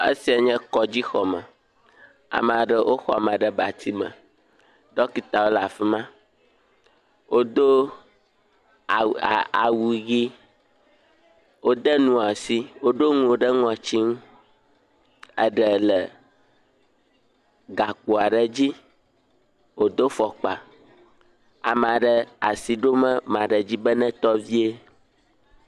Esia nye kɔdzixɔme. Ame aɖewo woxɔ ame ɖe abatsi me. Ɖɔkitawo le afi ma. Wodo awu a awu ʋi. Wode nu asi woɖo nu ɖe ŋŋtsi. Eɖe le gakpo aɖe dzi wodo fɔkpa. Ame aɖe asi ɖom ame aɖe dzi be netɔ vie.